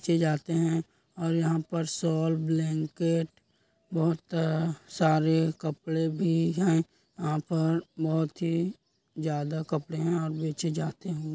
चीज़े आते हैं और यहाँ पर शॉल ब्लैंकेट बहुत सारे कपड़े हैं यहाँ पर बहुत ही ज्यादा कपड़े हैं और बेचे जाते हैं।